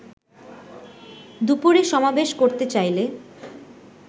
দুপুরে সমাবেশ করতে চাইলে